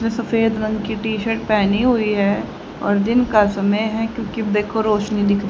जो सफेद रंग की टी शर्ट पहनी हुई है और दिन का समय है क्योंकि देखो रोशनी दिख--